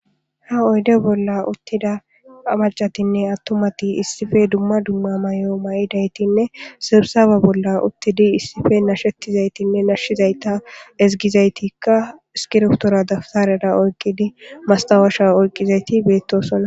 ha oyde bolla uttida amacatinne attomati issife dumma dumma may7o ma7idaytinne sibsawa bolla uttidi issife nashettizaytinne nashizayta ezgizaytikka skirftora dabtarera oyqqidi mastawaasha oyqqizayti beettosonna